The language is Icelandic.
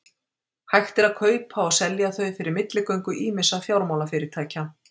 Hægt er að kaupa og selja þau fyrir milligöngu ýmissa fjármálafyrirtækja.